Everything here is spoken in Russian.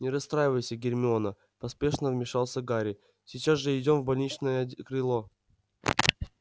не расстраивайся гермиона поспешно вмешался гарри сейчас же идём в больничное крыло